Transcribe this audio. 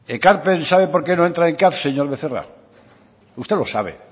ekarpen sabe por qué no entra en caf señor becerra usted lo sabe